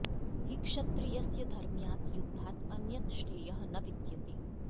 हि क्षत्रियस्य धर्म्यात् युद्धात् अन्यत् श्रेयः न विद्यते